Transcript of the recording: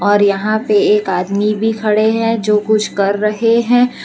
और यहां पे एक आदमी भी खड़े है जो कुछ कर रहे हैं।